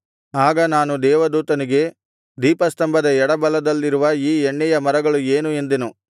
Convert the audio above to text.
ಆಗ ನಾನು ದೇವದೂತನಿಗೆ ದೀಪಸ್ತಂಭದ ಎಡಬಲದಲ್ಲಿರುವ ಈ ಎಣ್ಣೆಯ ಮರಗಳು ಏನು ಎಂದೆನು